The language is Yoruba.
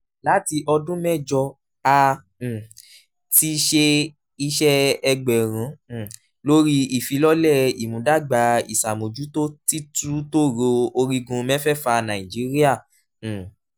láti ọdún mẹ́jọ a um ti ṣe iṣẹ́ ẹgbẹ̀rún um lórí ìfilọ́lẹ̀ ìmúdàgbà ìṣàmójútó títútòòró orígun mẹ́fẹ̀ẹ̀fà nàìjíríà. um